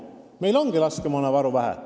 Meil ongi laskemoonavaru vähe.